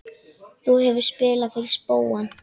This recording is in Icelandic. Þú hefur spilað fyrir spóann?